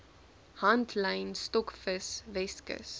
handlyn stokvis weskus